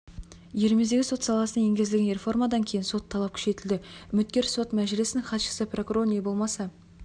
еліміздегі сот саласына енгізілген реформадан кейін сот талап күшейтілді үміткер сот мәжілісінің хатшысы прокурор не болмаса